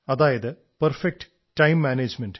so perfect time management